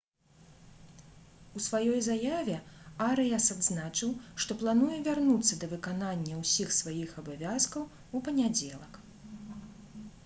у сваёй заяве арыяс адзначыў «што плануе вярнуцца да выканання ўсіх сваіх абавязкаў у панядзелак»